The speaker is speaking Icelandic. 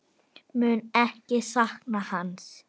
Mun ekki sakna hans.